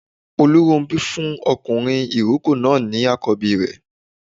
Olúrónbí fún ọkùnrin ìrókò náà ní àkọ́bí rẹ̀